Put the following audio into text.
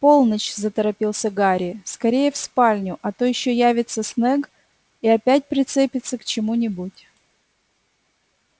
полночь заторопился гарри скорее в спальню а то ещё явится снегг и опять прицепится к чему-нибудь